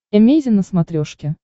эмейзин на смотрешке